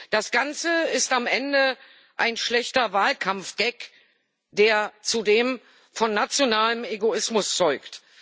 Das Ganze ist am Ende ein schlechter Wahlkampfgag, der zudem von nationalem Egoismus zeugt.